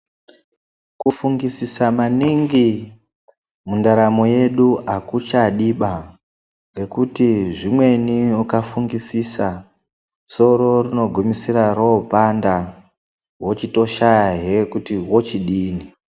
Kufungisisa maningi mundaramo yedu akuchadiba ngekuti zvimweni ukafungisisa soro rinogumisira ropanda wochitoshayahe kuti wochidini.